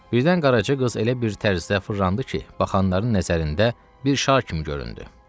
Birdən Qaraca qız elə bir tərzdə fırlandı ki, baxanların nəzərində bir şar kimi göründü.